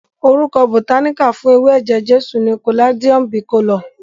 Orúkọ bòtáníkà fún ewé eje-jesu ni Caladium Bicolor.